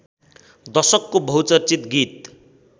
दशकको बहुचर्चित गीत